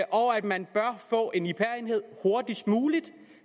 og at man bør få en ipr enhed hurtigst muligt